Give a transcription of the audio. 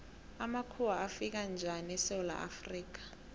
amakhuwa afika njani esewula afrika